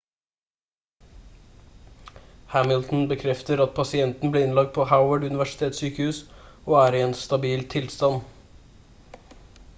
hamilton bekreftet at pasienten ble innlagt på howard universitetssykehus og er i en stabil tilstand